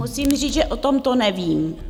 Musím říct, že o tomto nevím.